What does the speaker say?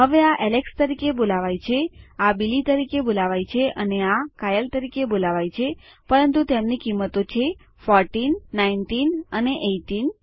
હવે આ એલેક્સ તરીકે બોલાવાય છે આ બિલી તરીકે બોલાવાય છે અને આ કાયલે તરીકે બોલાવાય છે પરંતુ તેમની કિંમતો છે ફોરટીન નાઈનટીન અને એઈટીન